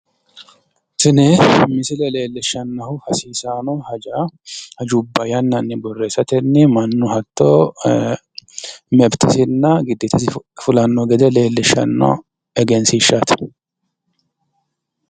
Tini misile leellishshaahu hasiisaano hajubba yannanni borreessatenni mannu hatto mefitesinna giddeetasi fulanno gede leellishshanno egensiishshaati.